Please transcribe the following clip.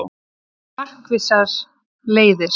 Markvissar leiðir